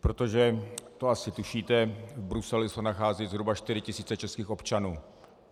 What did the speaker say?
Protože, to asi tušíte, v Bruselu se nacházejí zhruba 4 tisíce českých občanů.